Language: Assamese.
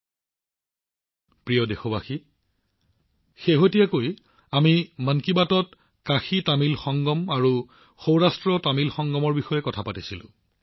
মোৰ মৰমৰ দেশবাসীসকল আমি মন কী বাতত কাশীতামিল সংগম সৌৰাষ্ট্ৰতামিল সংমৰ বিষয়ে কথা পাতিছিলো